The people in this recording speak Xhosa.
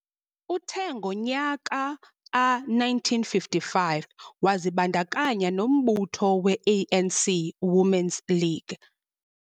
Uthe ngomnyaka ka -1955 wazibandakanya nombutho we - A.N.C Women's League.